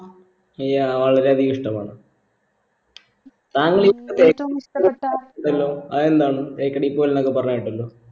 yah വളരെ അധികം ഇഷ്ടമാണ് അതെന്താണ് തേക്കടി പോകൽന്നൊക്കെ പറഞ്ഞ് കേട്ടല്ലോ